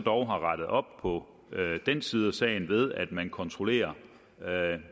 dog har rettet op på den side af sagen ved at man kontrollerer